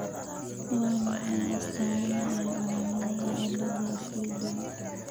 Waa maxay astamaha iyo calaamadaha cilada Filippiga?